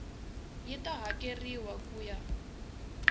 yi ta hakeriwa ku ya